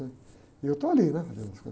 Ãh, e eu estou ali, né?